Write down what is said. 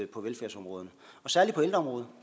på velfærdsområderne og særlig på ældreområdet